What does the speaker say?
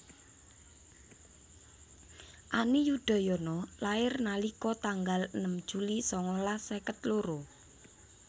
Ani Yudhoyono lahir nalika tanggal enem Juli sangalas seket loro